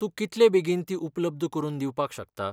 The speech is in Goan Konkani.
तूं कितलें बेगीन तीं उपलब्द करून दिवपाक शकता?